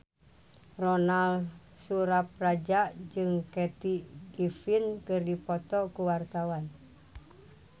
Ronal Surapradja jeung Kathy Griffin keur dipoto ku wartawan